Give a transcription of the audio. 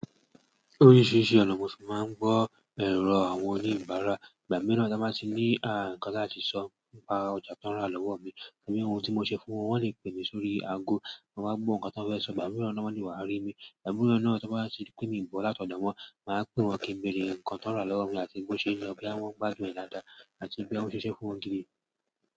Oríṣiríṣi ọ̀nà mo tì máa ń gbọ́ èrò àwọn oníbàárà. Ìgbà mìíràn tí wọ́n bá ti ní ń ǹkán láti sọ, nípa ọjà tó ń rà lọ́wọ́ mi, tàbí ohun tí mo ṣe fún wọn, wọ́n le pè mí sórí aago. Mo máa gbọ́ nǹkan tí wọ́n fẹ́ sọ, ìgbà mìíràn ná wọ́n le wá rí mi. Ìgbà mìíràn náà tí wọ́n bá ti rí pé mii gbọ́ láti ọ̀dọ̀ wọn, màá pè wọ́n kí ń béèrè nǹkan tó ń rà lọ́wọ́ mi àti bó ṣe nlọ, bóyá wọn ń gbàdun ẹ̀ dàadá, àti bóyá on ṣì ṣe fún wọn gidi.